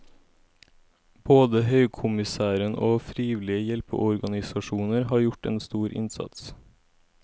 Både høykommissæren og frivillige hjelpeorganisasjoner har gjort en stor innsats.